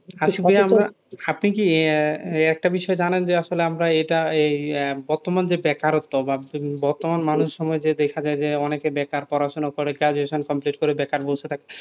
আপনি কি একটা বিষয় জানেন যে আসলে আমরা এটা এই বর্তমান যে বেকারত্ব বা বর্তমান মানুষ সময় যা দেখা যায় অনেকে বেকার পড়াশোনা করে graduate complete করে বেকার বসে থাকে,